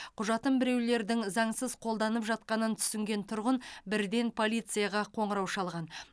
құжатын біреулердің заңсыз қолданып жатқанын түсінген тұрғын бірден полицияға қоңырау шалған